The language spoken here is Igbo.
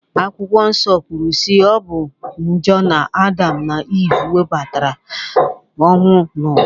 Akwụkwọ Nsọ kwuru si na ọ bụ njọ na Adam na Ive webatara ọnwụ n'ụwa